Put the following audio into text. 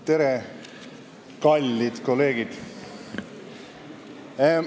Tere, kallid kolleegid!